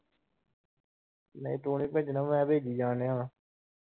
ਨਹੀਂ ਤੂੰ ਨੀ ਭੇਜਣਾ ਮੈਂ ਭੇਜੀ ਜਾਣ ਦਿਆ ਆ।